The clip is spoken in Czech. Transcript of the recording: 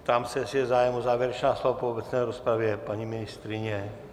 Ptám se, jestli je zájem o závěrečná slova po obecné rozpravě - paní ministryně?